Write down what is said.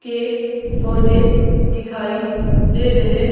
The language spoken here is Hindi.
के पौधे दिखाई दे रहे--